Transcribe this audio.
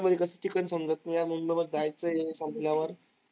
मध्ये कसं? जायचंय संपल्यावर